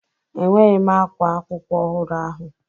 Enweghị m ákwá akwụkwọ ọhụrụ ahụ.